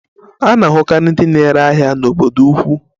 A na-ahụkarị ndị na-ere ahịa n'obodo ukwu.